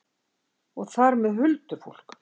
Og þar með huldufólk?